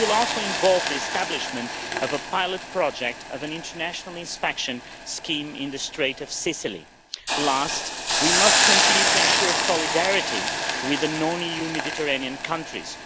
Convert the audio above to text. It will also involve the establishment of a pilot project of an international inspection scheme in the Straits of Sicily. Last, we must continue to ensure solidarity with non-EU Mediterranean countries.